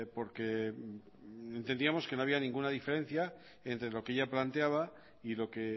porque entendíamos que no había ninguna diferencia entre lo que ella planteaba y lo que